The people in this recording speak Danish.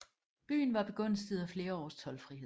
Byen var begunstiget af flere års toldfrihed